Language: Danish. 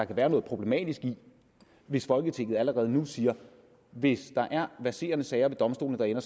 kan være problematisk hvis folketinget allerede nu siger hvis der er verserende sager ved domstolene der ender